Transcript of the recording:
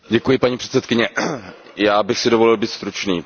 Paní předsedající, já bych si dovolil být stručný.